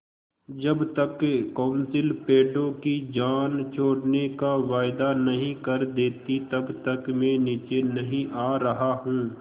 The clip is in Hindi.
जब तक कौंसिल पेड़ों की जान छोड़ने का वायदा नहीं कर देती तब तक मैं नीचे नहीं आ रहा हूँ